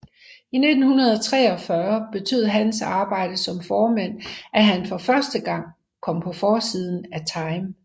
I 1943 betød hans arbejde som formand at han for første gang kom på forsiden af Time